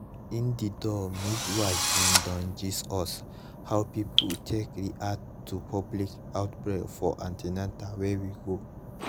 indeedour midwife bin don gist us how people take react to public outbreak for an ten al wey we go